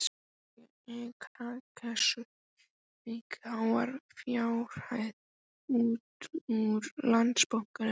Jói kaka sveik háar fjárhæðir út úr Landsbankanum á